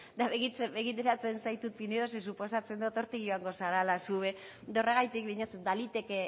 eta begiratzen zaitut pinedo zeren eta suposatzen dut hortik joango zarela zu ere eta horregatik diotsut baliteke